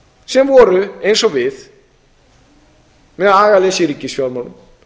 sem voru eins og við með agaleysi í ríkisfjármálum